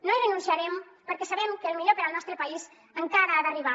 no hi renunciarem perquè sabem que el millor per al nostre país encara ha d’arribar